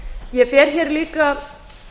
ég fer líka